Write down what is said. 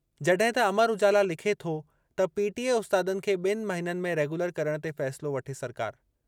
जॾहिं त अमर उजाला लिखे थो त पीटीए उस्तादनि खे बि॒नि महिननि में रेगुलर करणु ते फ़ैसिलो वठे सरकार।